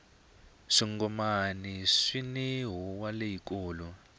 swingomani swini huwa leyi kulu